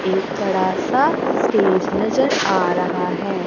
एक बड़ा सा स्टेज नजर आ रहा है।